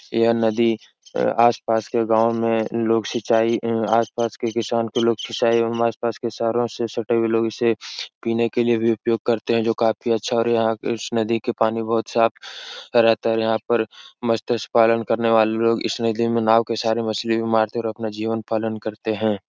यह नदी अ आस-पास के गांव में लोग सिंचाई इ आस-पास के किसान के लोग सिंचाई एवं आस-पास के शहरों से सटे हुए लोग इसे पीने के लिए भी उपयोग करते हैं जो काफी अच्छा और यहाँ इस नदी के पानी बहोत साफ रहता है और यहाँ पर मस्त्स्य पालन करने वाले लोग इस नदी में नाव के सहारे मछली भी मारते हैं और अपना जीवन पालन करते हैं।